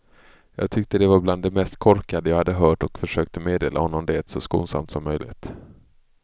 Jag tyckte det var bland det mest korkade jag hade hört och försökte meddela honom det så skonsamt som möjligt.